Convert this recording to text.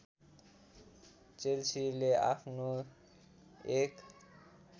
चेल्सीले आफ्नो १